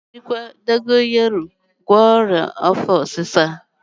A ga-ejikwa dogoyaro agwọ ọrịa afọ ọsịsa